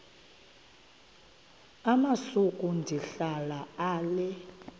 amasuka ndihlala ale